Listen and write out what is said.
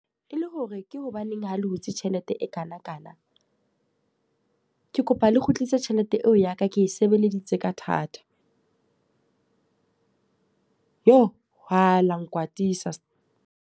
E le hore ke hobaneng ha le hutse tjhelete e kana kana. Ke kopa le kgutlise tjhelete eo ya ka ke e sebeleditse ka thata. Jo! Aa lang nkwatisa .